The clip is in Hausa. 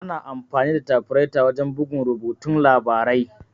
Ana amfani da tafireta wajan bugun rubutun labarai.